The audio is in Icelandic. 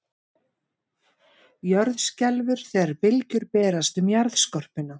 Jörð skelfur þegar bylgjur berast um jarðskorpuna.